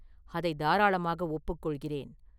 அதைத் தாராளமாக ஒப்புக்கொள்கிறேன்.